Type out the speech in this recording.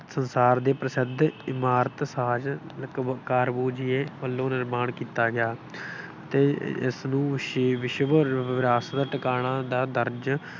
ਸੰਸਾਰ ਦੇ ਪ੍ਰਸਿੱਧ ਇਮਾਰਤ ਸ਼ਾਜ ਸ਼ਿਲਪਕਾਰ ਬੌਝੀਏ ਵੱਲੋਂ ਨਿਰਮਾਣ ਕੀਤਾ ਗਿਆ ਅਤੇ ਇਸਨੂੰ ਸੀ ਵਿਸ਼ਵ ਵਿਰਾਸਤ ਟਿਕਾਣਾ ਦਾ ਦਰਜ